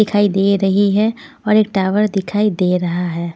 दिखाई दे रही है और एक टावर दिखाई दे रहा है.